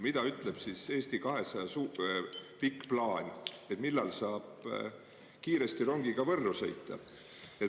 Mida ütleb siis Eesti 200 pikk plaan, millal saab kiiresti rongiga Võrru sõita?